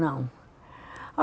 Não.